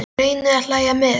Ég reyni að hlæja með henni.